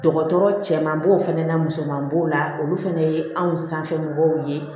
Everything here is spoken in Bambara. Dɔgɔtɔrɔ cɛman b'o fana na musoman b'o la olu fɛnɛ ye anw sanfɛ mɔgɔw ye